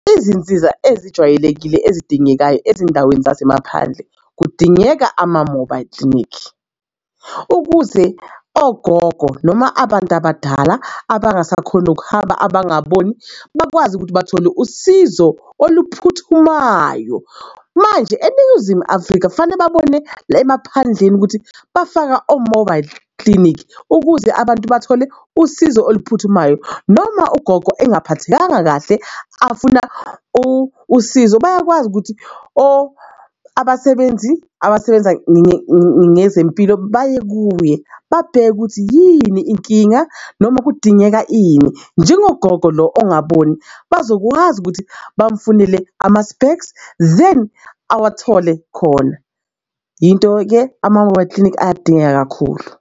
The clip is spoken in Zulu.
Izinsiza ezijwayelekile ezidingekayo ezindaweni zasemaphandle kudingeka ama-mobile clinic ukuze ogogo noma abantu abadala abangasakhoni ukuhamba abangaboni bakwazi ukuthi bathole usizo oluphuthumayo. Manje eNingizimu Afrika fanele babone la emaphandleni ukuthi bafaka o-mobile clinic ukuze abantu bathole usizo oluphuthumayo. Noma ugogo engaphathekanga kahle afuna usizo bayakwazi ukuthi or abasebenzi abasebenza ngezempilo baye kuye babheke ukuthi yini inkinga, noma kudingeka ini. Njengogogo lo ongaboni bazokwazi ukuthi bamfunela ama-specs then awathole khona. Into-ke ama-mobile clinic ayadingeka kakhulu.